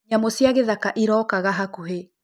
Nyamũ cĩa ngĩthaka ĩrokaga hakũhĩ.